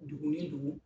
Dugu ni dugu